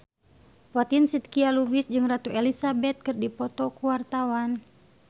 Fatin Shidqia Lubis jeung Ratu Elizabeth keur dipoto ku wartawan